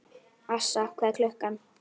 Assa, hvað er klukkan?